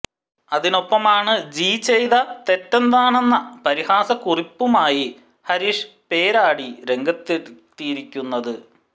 അതിനൊപ്പമാണ് ജീ ചെയ്ത തെറ്റെന്താണെന്ന പരിഹാസ കുറിപ്പുമായി ഹരീഷ് പേരാടി രംഗത്തെത്തിയിരിക്കുന്നത്